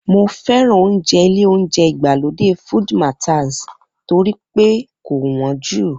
Mo fẹ́ràn oúnjẹ ilé oúnjẹ ìgbàlódé Food Mataz torí pé kò wọ́n jù